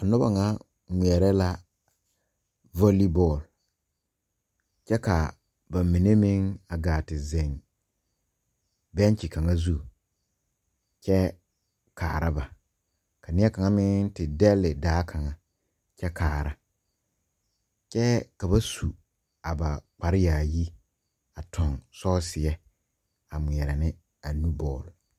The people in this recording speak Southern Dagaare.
Noba ŋa ngmeɛɛrɛ la valle bɔɔl kyɛ kaa ba mine meŋ a gaa te zeŋ bɛnkyi kaŋa zu kyɛ kaara ba ka neɛ kaŋa meŋ te dɛlle daa kaŋa kyɛ kaara kyɛ ka ba su a ba kparre yaayi a tuŋ sɔɔseɛ a ngmeɛrɛ ne a nu bɔɔl.